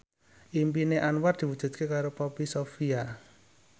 impine Anwar diwujudke karo Poppy Sovia